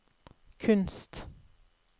kunst